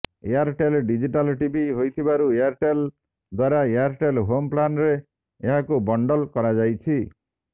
Airtel digital TV ହୋଇଥିବାରୁ Airtel ଦ୍ବାରା Airtel home plan ରେ ଏହାକୁ ବଣ୍ଡଲ କରାଯାଇଛି